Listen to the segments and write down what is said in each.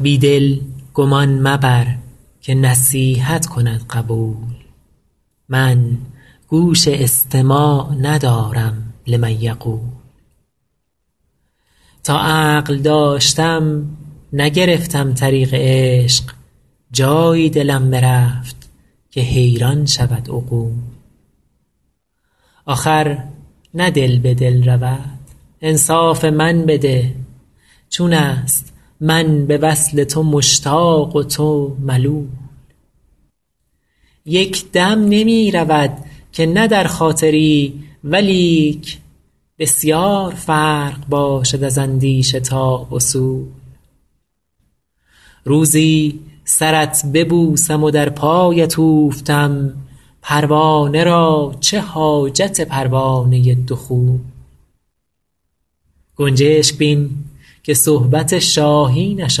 بی دل گمان مبر که نصیحت کند قبول من گوش استماع ندارم لمن یقول تا عقل داشتم نگرفتم طریق عشق جایی دلم برفت که حیران شود عقول آخر نه دل به دل رود انصاف من بده چون است من به وصل تو مشتاق و تو ملول یک دم نمی رود که نه در خاطری ولیک بسیار فرق باشد از اندیشه تا وصول روزی سرت ببوسم و در پایت اوفتم پروانه را چه حاجت پروانه دخول گنجشک بین که صحبت شاهینش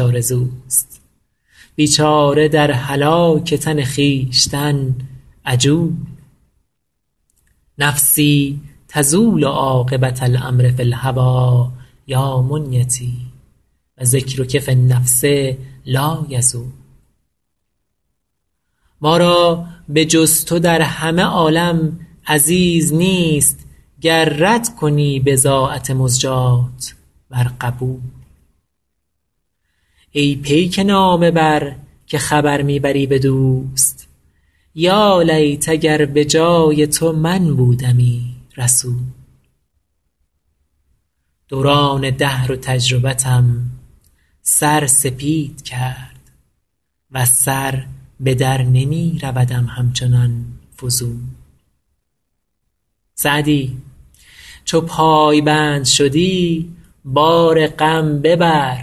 آرزوست بیچاره در هلاک تن خویشتن عجول نفسی تزول عاقبة الأمر فی الهوی یا منیتی و ذکرک فی النفس لایزول ما را به جز تو در همه عالم عزیز نیست گر رد کنی بضاعت مزجاة ور قبول ای پیک نامه بر که خبر می بری به دوست یالیت اگر به جای تو من بودمی رسول دوران دهر و تجربتم سر سپید کرد وز سر به در نمی رودم همچنان فضول سعدی چو پایبند شدی بار غم ببر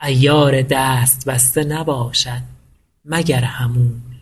عیار دست بسته نباشد مگر حمول